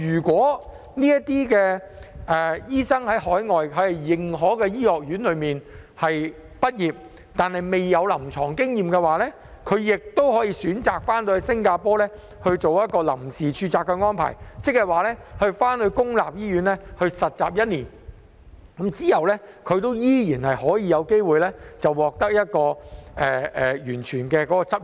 在海外認可的醫學院畢業但未有臨床經驗的醫生，亦可以選擇在新加坡進行臨時註冊，在公立醫院實習一年後便有機會取得全面的執業資格。